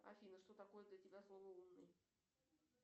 афина что такое для тебя слово умный